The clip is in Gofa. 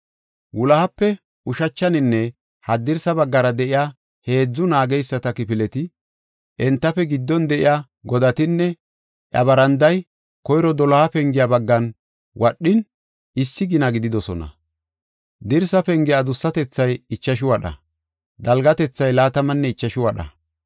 Wulohape ushachaninne haddirsa baggara de7iya heedzu naageysata kifileti, entafe giddon de7iya godatinne iya baranday koyro doloha pengiya baggan wadhin issi gina gididosona. Dirsa penge adussatethay ichashu wadha; dalgatethay laatamanne ichashu wadha.